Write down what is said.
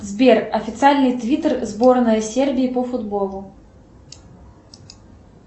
сбер официальный твиттер сборная сербии по футболу